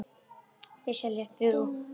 Þau segjast eiga þrjú börn.